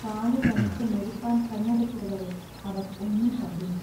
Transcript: കാലു തണുത്തു മരിപ്പാൻ കണ്ണടച്ചതുവരെ അവർ ഒന്നും കണ്ടില്ല.